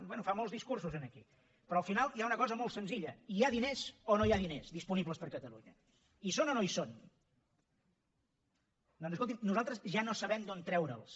bé fa molts discursos aquí però al final hi ha una cosa molt senzilla hi ha diners o no hi ha diners disponibles per a catalunya hi són o no hi són doncs escolti’m nosaltres ja no sabem d’on treure’ls